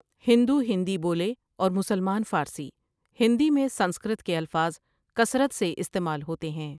ہندو ہندی بولے اور مسلمان فاری ہندی میں سنسکرت کے الفاظ کثرت سے استعمال ہوتے ہیں ۔